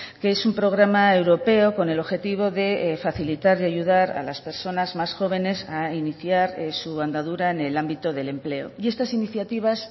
que es un programa europeo con el objetivo de facilitar y ayudar a las personas más jóvenes a iniciar su andadura en el ámbito del empleo y estas iniciativas